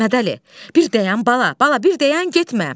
Məhəmmədəli, bir dayan bala, bala, bir dayan getmə.